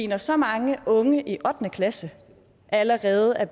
når så mange unge i ottende klasse allerede er